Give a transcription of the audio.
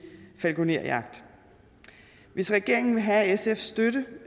falkejagt hvis regeringen vil have sfs støtte